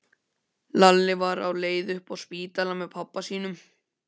Lalli var á leið upp á spítala með pabba sínum.